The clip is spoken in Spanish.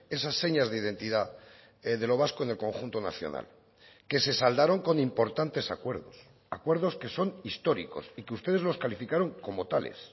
esas señas de identidad de lo vasco en el conjunto nacional que se saldaron con importantes acuerdos acuerdos que son históricos y que ustedes los calificaron como tales